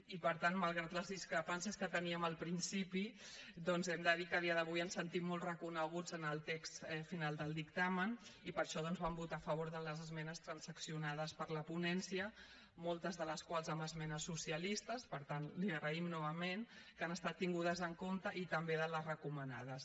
i per tant malgrat les discrepàncies que teníem al principi doncs hem de dir que a dia d’avui ens sentim molt reconeguts en el text final del dictamen i per això vam votar a favor de les esmenes transaccionades per la ponència moltes de les quals amb esmenes socialistes per tant l’hi agraïm novament que han estat tingudes en compte i també de les recomanades